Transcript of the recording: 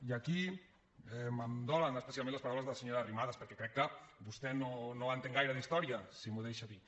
i aquí em dolen especialment les paraules de la senyora arrimadas perquè crec que vostè no entén gaire d’història si m’ho deixa dir